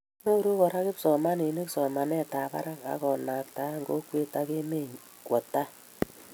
Nyoru kora kipsomaninik somanet ab barak akonaktaei kokwet ak emenyo kwo tai